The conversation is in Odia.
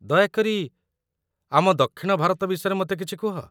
ଦୟାକରି, ଆମ ଦକ୍ଷିଣ ଭାରତ ବିଷୟରେ ମୋତେ କିଛି କୁହ